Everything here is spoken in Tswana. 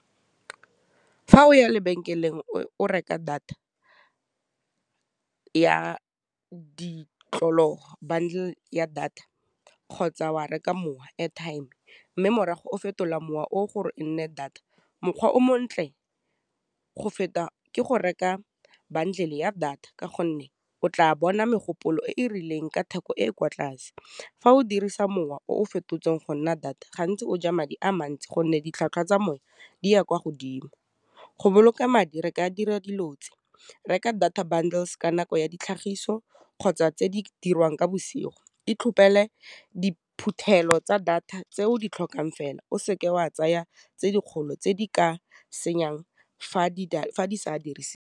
Fa o ya lebenkeleng o reka data ya bundle ya data kgotsa wa reka mowa airtime, mme morago o fetola mowa o gore e nne data mokgwa o montle go feta ke go reka bantlhoile ya data ka gonne o tla bona megopolo e e rileng ka theko e e kwa tlase. Fa o dirisa mowa o fetotsweng go nna data, gantsi o ja madi a mantsi gonne ditlhwatlhwa tsa moya di ya kwa godimo. Ho boloka madi, re ka dira dilo tse, ke reka data bundles ka nako ya ditlhagiso, kgotsa tse di dirwang ka bosigo, di tlhopele diphuthelo tsa data tse o di tlhokang fela o seke wa tsaya tse dikgolo tse di ka senyang fa di sa .